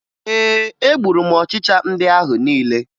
Ee, egburu m ọchịcha ndị ahụ niile